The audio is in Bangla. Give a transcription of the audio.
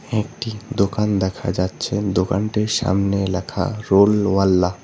একটি দোকান দেখা যাচ্ছে দোকানটির সামনে লেখা রোল ওয়াল্লাহ ।